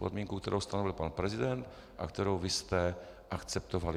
Podmínka, kterou stanovil pan prezident a kterou vy jste akceptovali.